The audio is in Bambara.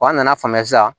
Wa an nana faamuya sisan